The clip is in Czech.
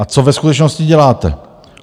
A co ve skutečnosti děláte?